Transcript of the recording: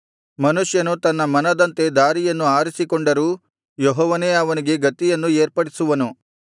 ಮನುಷ್ಯನು ತನ್ನ ಮನದಂತೆ ದಾರಿಯನ್ನು ಆರಿಸಿಕೊಂಡರೂ ಯೆಹೋವನೇ ಅವನಿಗೆ ಗತಿಯನ್ನು ಏರ್ಪಡಿಸುವನು